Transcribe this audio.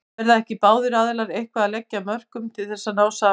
Verða ekki báðir aðilar eitthvað að leggja af mörkum til þess að ná saman?